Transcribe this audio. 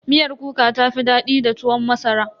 Miyar kuka ta fi daɗi da tuwon masara.